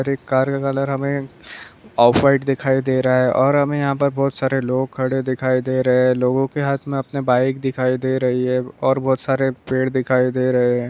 एक कार का कलर हमें ऑफलाईट दिखाई दे रहा हें । और हमे यहाँ पर बोहत सारे लोग खडे दिखाई दे रहे हें । लोगो के हात मे अपनी बाईक दिखाई दे रही हें । और बोहत सारे पेड दिखाई दे रहे हें ।